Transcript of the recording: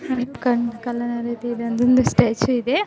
ಕರಿ ಒಂದು ಸ್ಟ್ಯಾಚು ಇದೆ.